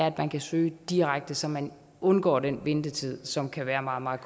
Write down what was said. at man kan søge direkte så man undgår den ventetid som kan være meget meget